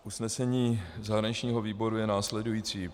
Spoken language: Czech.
Usnesení zahraničního výboru je následující.